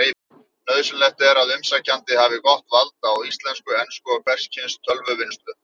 Nauðsynlegt er að umsækjandi hafi gott vald á íslensku, ensku og hvers kyns tölvuvinnslu.